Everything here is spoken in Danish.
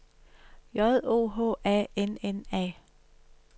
J O H A N N A